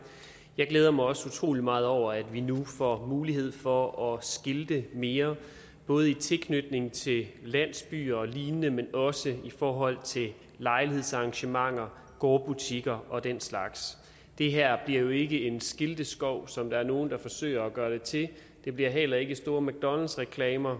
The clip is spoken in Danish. jeg glæder mig også utrolig meget over at vi nu får mulighed for at skilte mere både i tilknytning til landsbyer og lignende men også i forhold til lejlighedsarrangementer gårdbutikker og den slags det her bliver jo ikke en skilteskov som der er nogen der forsøger at gøre det til det bliver heller ikke store mcdonalds reklamer